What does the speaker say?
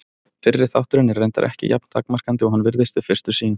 Fyrri þátturinn er reyndar ekki jafn takmarkandi og hann virðist við fyrstu sýn.